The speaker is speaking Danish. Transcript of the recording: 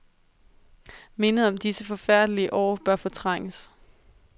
Mindet om disse forfærdelige år bør fortrænges.